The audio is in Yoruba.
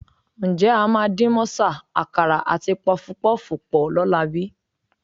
Ǹjẹ́ a máa dín mọ́sà, àkàrà àti pọfupọ́ọ̀fù pọ̀ lọ́la bí?